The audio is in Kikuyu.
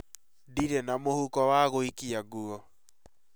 Ndirĩ na mũhuko wa gũikia nguo